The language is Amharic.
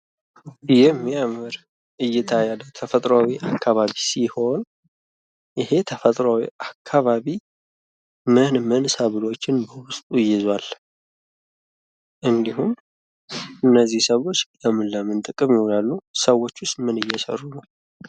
የሚያምር እይታ ያለው ተፈጥሯዊ አካባቢ ሲሆን ይህ ተፈጥሯዊ አካባቢ ምን ምን ሰብሎችን በውስጡ ይዟል? እንዲሁም እነዚህ ሰብሎች ለምን ለምን ጥቅም ይውላሉ ሰዎቹስ ውስጥ ምን እየሰሩ ነው?